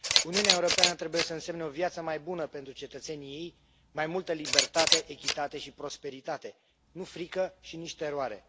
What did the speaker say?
Uniunea Europeană trebuie să însemne o viață mai bună pentru cetățenii ei, mai multă libertate, echitate și prosperitate, nu frică și nici teroare.